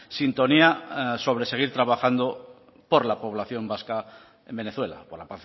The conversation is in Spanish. sintonía sobre seguir trabajando por la población vasca en venezuela por la